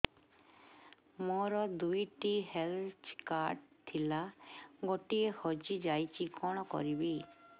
ମୋର ଦୁଇଟି health card ଥିଲା ଗୋଟିଏ ହଜି ଯାଇଛି କଣ କରିବି